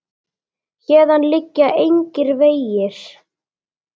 Héðan liggja engir vegir.